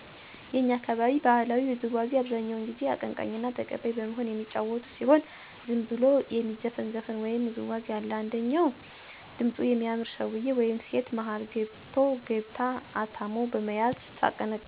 የእኛ አካባቢ ባህላዊ ውዝዋዚ አብዛኛው ጊዜ አቀንቃኝና ተቀባይ በመሆን የሚጫወቱት ሲሆን ዝም ብሎም የሚዘፈን ዘፈን ወይም ውዝዋዜ አለ። አንደኛው ድምጹ የሚያምር ሰውየ ወይም ሴት መሀል ገብቶ/ገብታ አታሞ በመያዝ ስታቀነቅን/ሲያቀነቅን ሌሎች በዳር ዳር ዙሪያውን ይሆኑና አያሸበሸቡ ወይም ወዲያና ወዲህ እየመቱ ሲቀበሉ ይቆያሉ። ከዚያ አቀነቃኙ/ኟ ሲደርብላቸው ወይም ስትደርብላቸው ሁሉም አነድ ላይ በመንቀጥቀጥ ይደልቃሉ። ከዚያ አቀንቃኙ/ኟ ወደ ዳር በመሆን ሁለት ሁለት የየሆኑ መሀል እየገቡ ይደልቃሉ፤ ይንቀጠቀጣሉ። አቀንቃኙ እንደገና ሲያነሳው አንደመጀመሪያው በመቀበል ይቀጥላል። ደስ አይልም?!! ብታዩት እንዴት ደስ እንደሚል የምር።